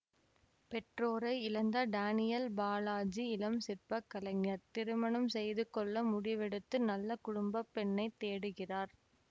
பெற்றோரை இழந்த டேனியல் பாலாஜி இளம் சிற்ப கலைஞர் திருமணம் செய்துகொள்ள முடிவெடுத்து நல்ல குடும்ப பெண்ணை தேடுகிறார்